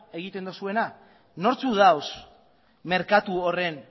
egiten duzuena nortzuk daude merkatu horren